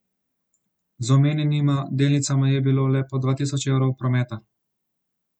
Z omenjenima delnicama je bilo le po dva tisoč evrov prometa.